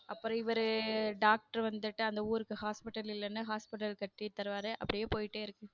அப்புறம் இவரு doctor வந்துட்டு அந்த ஊருக்கு hospital இல்லன்னு hospital கட்டி தருவாரு அப்படியே போயிட்டே இருக்கும்.